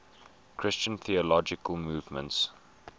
christian theological movements